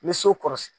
N bɛ so kɔrɔ